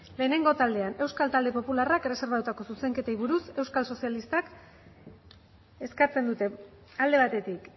lehenengo taldean euskal talde popularrak erreserbatutako zuzenketei buruz euskal sozialistek eskatzen dute alde batetik